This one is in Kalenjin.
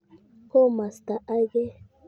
Komasta age.